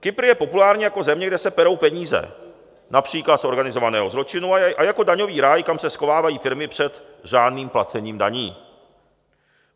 Kypr je populární jako země, kde se perou peníze, například z organizovaného zločinu, a jako daňový ráj, kam se schovávají firmy před řádným placením daní.